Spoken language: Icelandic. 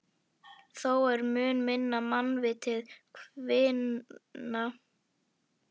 Þó er mun minna mannvitið kvinna.